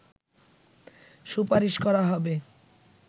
সুপারিশ করা হবে